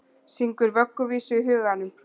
Syngur vögguvísu í huganum.